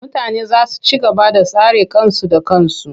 Mutane za su ci gaba da tsare kansu da kansu.